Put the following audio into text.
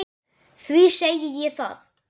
Því segi ég það.